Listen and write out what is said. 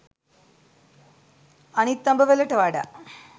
අනිත් අඹ වලට වඩා